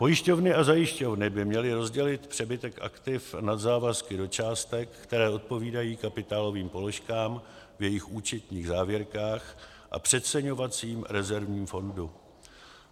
Pojišťovny a zajišťovny by měly rozdělit přebytek aktiv nad závazky do částek, které odpovídají kapitálovým položkám v jejich účetních závěrkách a přeceňovacím rezervním fondu.